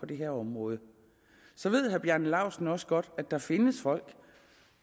det her område så ved herre bjarne laustsen også godt at der findes folk